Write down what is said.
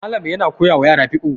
Malam yana koyawa yara fiqhu